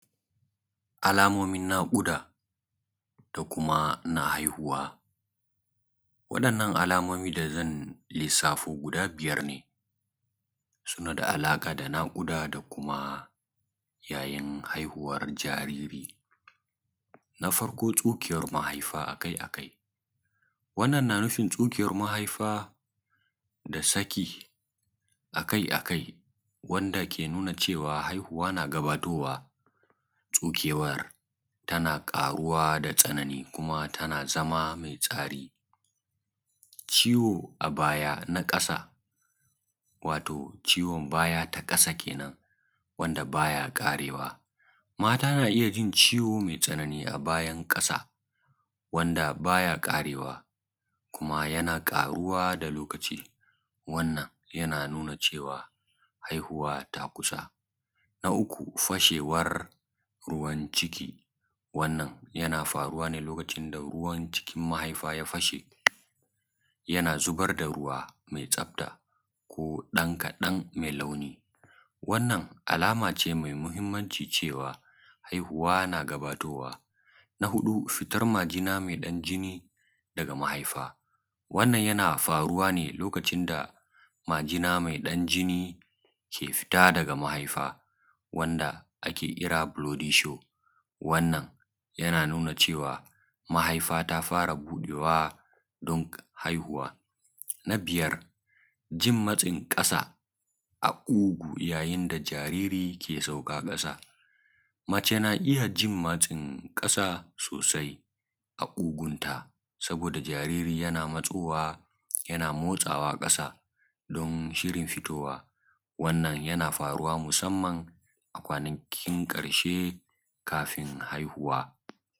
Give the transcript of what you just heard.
Alamomin na ƙuda kuma na haihuwa waɗannan alamomi da zan lissafo guda biyar ne suna da alaƙa da naƙuda da yanayin haihuwar jariri, na farko tsukewar mahaifa aka- akai wannan na nufin tsukewar mahaifa da saki akai-akai wanda ke nuna cewa haihuwa na gabatowa. Tsukewar tana ƙaruwa da tsanani kuma tana zama me tsari ciwo a baya na ƙasa wato ciwon baya ta ƙasa kenan wanda baya ƙarewa. Mata na iya jin ciwo me tsanani a bayan ƙasa wanda baya ƙarewa kuma yana ƙaruwa da lokaci wannan yana nuna cewa haihuwa ta kusa na uku fashewar ruwan ʧiki: wannan yana faruwa ne lokacin da ruwan cikin mahaifa ya fashe, yana zubar da ruwa mai tsafta ko ɗan kaɗan mai launi. Wannan alamace mai mahimanci cewa haihuwa na gabatowa. Fitan majina mai ɗan jini daga mahaifa: Wannan yana faruwa ne lokacin da majina mai ɗan jini ke fita daga mahaifa, wanda ake kira "blooding show". Wannan yana nuna cewa mahaifa ta fara buɗewa don haihuwa. Jin matsin ƙasa a ƙugu: Janin da jariri ke sauka ƙasa, mace na iya ji matsin ƙasa sosai a ƙugunta, saboda jaririn yana motsawa ƙasa don shirin fitawa. Wannan yana faruwa mafi masimanci a kwanakin ƙarshe kafin haihuwa.